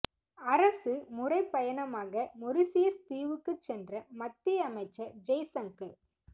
அரசு முறை பயணமாக மொரிசியஸ் தீவுக்கு சென்ற மத்திய அமைச்சர் ஜெய்சங்கர்